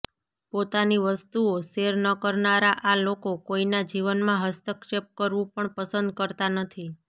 પોતાની વસ્તુઓ શેર ન કરનારા આ લોકો કોઈના જીવનમાં હસ્તક્ષેપ કરવું પણ પસંદ કરતા નથી